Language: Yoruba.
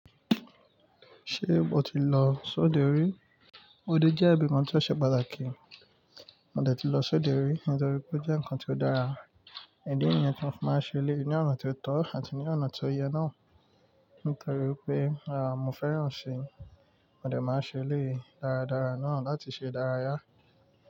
Ṣé o ti lọ sóde rí? Óde jẹ́ ibi kan tí ó ṣe pàtàkì, mo dẹ̀ ti lọ sóde rí nítorí pé ó jẹ́ nǹkan tí ó dára, idi nìyẹn tí mọ́ fi máa n ṣe eléyi ní ọ̀nà tí ó tọ àti ní ọ̀nà tí ó yẹ náà. Nítorí wipé, mo fẹ́ràn ẹ̀ ṣi, mo dẹ̀ máa ṣe eléyii dáradára náà láti ṣe ìdárayá.